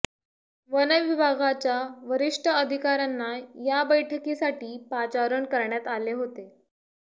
वनविभागाच्या वरिष्ठ अधिकाऱ्यांना या बैठकीसाठी पाचारण करण्यात आले होते